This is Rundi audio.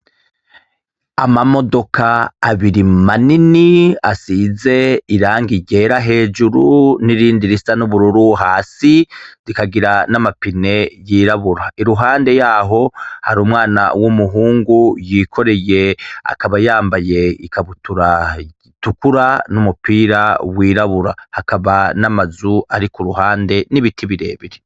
Amamodoka abiri manini asize irangi ryera hejuru nirindi risa nubururu hasi zikagira namapine yirabura iruhande yaho hari umwana wumuhungu yikoreye akaba yambaye ikabutura itukura n'umupira wirabura hakaba n'amazu ari kuruhande nibiti birebire.